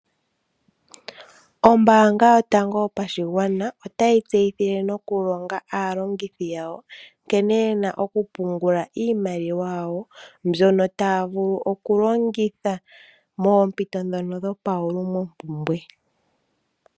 Ombanga yotango yopashigwana otayi tseyithile nokulonga aalongithi yawo nkene yena okupungula iimaliwa yawo mbyono taya vulu okulongitha mompito dhono dho pa wulimompumbwe.